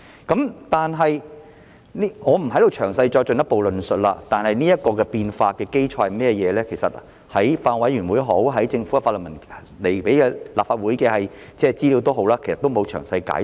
我不會在此詳細論述，但有關這些變化的基礎，不論是法案委員會會議或是政府提交立法會的法律文件，均沒有詳細解說。